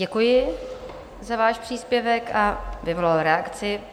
Děkuji za váš příspěvek a vyvolal reakci.